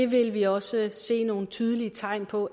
vil vi også se nogle tydelige tegn på